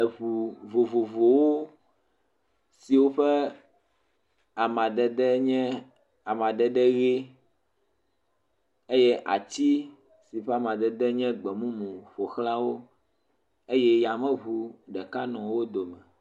Ŋu vovovowo si woƒe amadede nye amadede ʋi eye ati si ƒe amadede nye gbe mumu ƒo xlã wo eye yameŋu ɖeka nɔ wo dome.